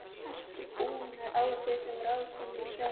Ertu búin að ráða þig sem ráðskonu í sveit?